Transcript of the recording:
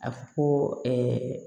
A fɔ ko